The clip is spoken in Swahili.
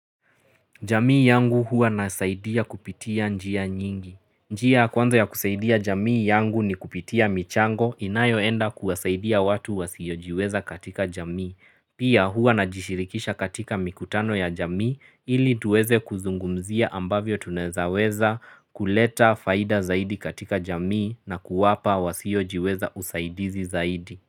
Jamii yangu huwa nasaidia kupitia njia nyingi. Njia ya kwanza ya kusaidia jamii yangu ni kupitia michango inayoenda kuwasaidia watu wasiojiweza katika jamii. Pia huwa najishirikisha katika mikutano ya jamii ili tuweze kuzungumzia ambavyo tunezaweza kuleta faida zaidi katika jamii na kuwapa wasiojiweza usaidizi zaidi.